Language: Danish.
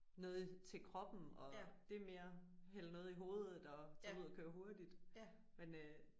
Noget til kroppen og det er mere hælde noget i hovedet og tage ud og køre hurtigt men